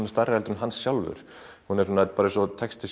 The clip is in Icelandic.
er stærri en hann sjálfur hún er hún er eins og texti